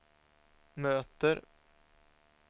möter